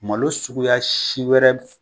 Malo suguya si wɛrɛ